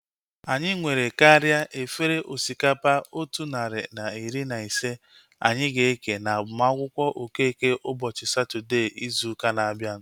Anyị nwere karịa efere osikapa otu narị na iri na ise anyị ga-eke na agbamakwụkwọ Okeke ụbọchị Satọdee izu ụka na-abịa